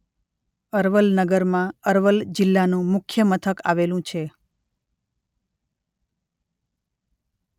અરવલ નગરમાં અરવલ જિલ્લાનું મુખ્ય મથક આવેલું છે.